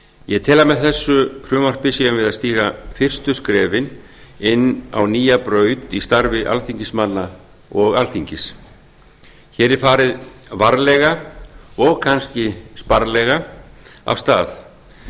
ég tel að með þessu frumvarpi séum við að stíga fyrstu skrefin inn á nýja braut í starfi alþingismanna og alþingis hér er farið varlega og kannski sparlega af stað en